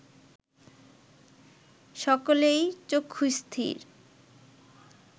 সকলেই চক্ষুস্থির